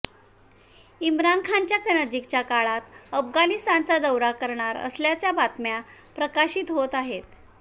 इम्रान खानच्या नजिकच्या काळात अफगाणिस्तानचा दौरा करणार असल्याच्या बातम्या प्रकाशित होत आहेत